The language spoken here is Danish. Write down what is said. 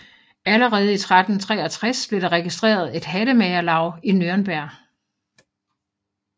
Allerede i 1363 blev der registreret et hattemagerlaug i Nürnberg